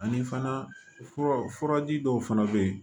Ani fana furaji dɔw fana bɛ yen